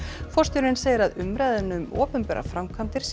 forstjóri segir að umræðan um opinberar framkvæmdir sé